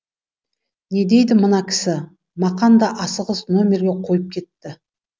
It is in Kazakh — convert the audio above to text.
не дейді мына кісі мақан да асығыс номерге қойып кетті